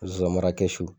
Zonzannin mara kɛsu